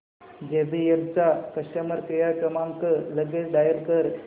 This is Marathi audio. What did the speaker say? जेबीएल चा कस्टमर केअर क्रमांक लगेच डायल कर